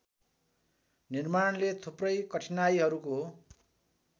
निर्माणले थुप्रै कठिनाइहरूको